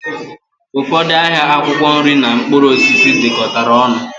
Ụfọdụ ahịa akwụkwọ nri na mkpụrụ osisi dikọtara ọnụ